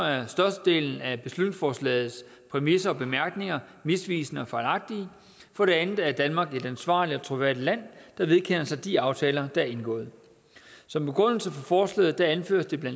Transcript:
er størstedelen af beslutningsforslagets præmisser og bemærkninger misvisende og fejlagtige for det andet er danmark jo et ansvarligt og troværdigt land der vedkender sig de aftaler der er indgået som begrundelse for forslaget anføres det bla